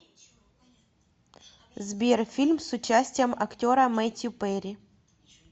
сбер фильм с участием актера метью перри